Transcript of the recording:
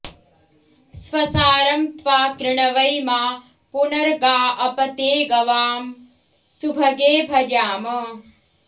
स्वसा॑रं त्वा कृणवै॒ मा पुन॑र्गा॒ अप॑ ते॒ गवां॑ सुभगे भजाम